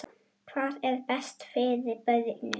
Hvað er best fyrir börnin?